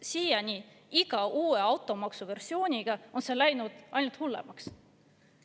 Siiani on iga uue automaksuversiooniga läinud see ainult hullemaks.